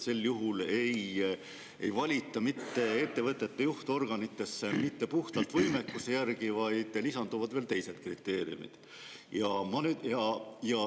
Sel juhul ei valita ettevõtete juhtorganitesse mitte puhtalt võimekuse järgi, vaid lisanduvad veel muud kriteeriumid.